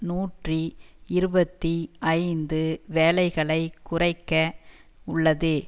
நூற்றி இருபத்தி ஐந்து வேலைகளை குறைக்க உள்ளது